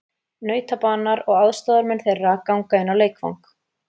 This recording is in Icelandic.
Nautabanar og aðstoðarmenn þeirra ganga inn á leikvang.